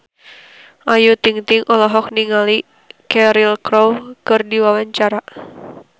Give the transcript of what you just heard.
Ayu Ting-ting olohok ningali Cheryl Crow keur diwawancara